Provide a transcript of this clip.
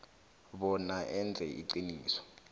bona enze iqiniso